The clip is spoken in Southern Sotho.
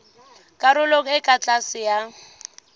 karolong e ka tlase ya